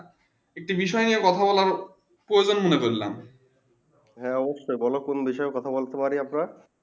হ্যাঁ অবশ্যই বলো কোন বিষয়ে কথা বোলতে পারি আপনার?